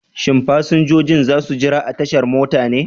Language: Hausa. Shin fasinjojin za su jira a tashar mota ne?